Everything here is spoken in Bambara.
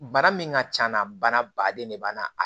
Bana min ka c'a na bana baden de b'a na